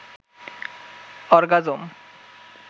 orgasm